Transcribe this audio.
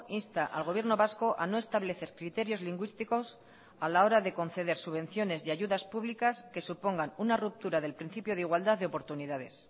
insta al gobierno vasco a no establecer criterios lingüísticos a la hora de conceder subvenciones y ayudas públicas que supongan una ruptura del principio de igualdad de oportunidades